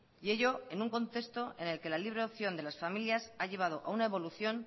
y ello en un contexto en el que la libre opción de las familias ha llevado a una evolución